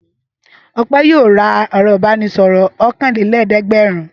Ọpẹ́ yóò ra ẹ̀rọ-ìbánisọ̀rọ̀ ọ̀kanlélẹ́ẹ̀dẹ́gbẹ̀rún.